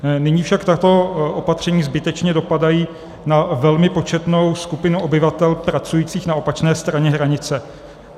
Nyní však tato opatření zbytečně dopadají na velmi početnou skupinu obyvatel pracujících na opačné straně hranice.